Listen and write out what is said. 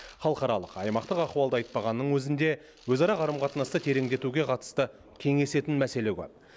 халықаралық аймақтық ахуалды айтпағанның өзінде өзара қарым қатынасты тереңдетуге қатысты кеңесетін мәселе көп